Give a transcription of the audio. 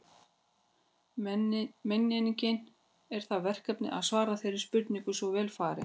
Menning er það verkefni að svara þeirri spurningu svo vel fari.